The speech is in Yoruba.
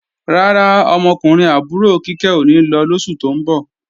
Rárá, ọmọkùnrin àbúrò Kíkẹ́ ò ní lọ lóṣù tó ń bọ̀